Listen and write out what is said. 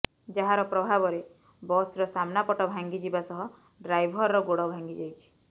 ଯାହାର ପ୍ରଭାବରେ ବସ୍ର ସାମ୍ନା ପଟ ଭାଙ୍ଗି ଯିବା ସହ ଡ୍ରାଇଭରର ଗୋଡ଼ ଭାଙ୍ଗି ଯାଇଛି